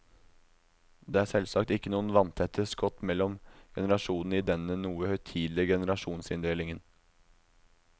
Det er selvsagt ikke noen vanntette skott mellom generasjonene i denne noe uhøytidelige generasjonsinndelingen.